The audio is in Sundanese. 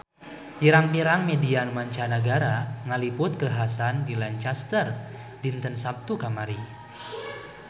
Pirang-pirang media mancanagara ngaliput kakhasan di Lancaster dinten Saptu kamari